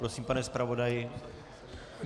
Prosím, pane zpravodaji.